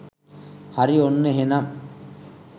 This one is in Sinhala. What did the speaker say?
හරි ඔන්න එහෙනම්